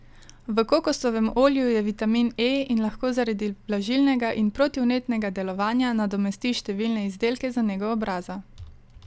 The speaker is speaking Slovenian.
V kokosovem olju je vitamin E in lahko zaradi vlažilnega in protivnetnega delovanja nadomesti številne izdelke za nego obraza.